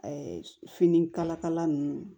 finikalakala nunnu